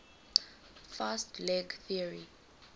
fast leg theory